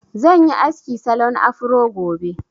Zan yi aski salon afro gobe